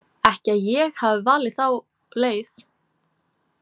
Ekki að ég hafi valið þá leið.